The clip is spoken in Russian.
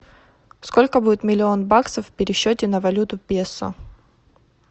сколько будет миллион баксов в пересчете на валюту песо